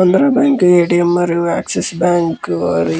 Andhra bank ATM మరియు Axis bank వారి--